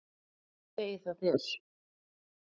Hvað segir það þér?